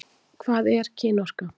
Hvað er kynorka?